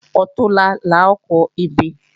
Ọ̀túnla la ó kọ ebè